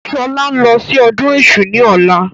Sọlá ń lọ sí ọdún èṣù ni ọ̀la